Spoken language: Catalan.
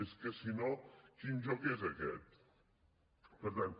és que si no quin joc és aquest per tant